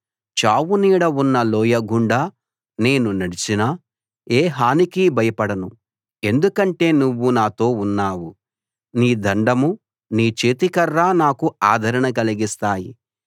చావు నీడ ఉన్న లోయ గుండా నేను నడిచినా ఏ హానికీ భయపడను ఎందుకంటే నువ్వు నాతో ఉన్నావు నీ దండం నీ చేతికర్ర నాకు ఆదరణ కలిగిస్తాయి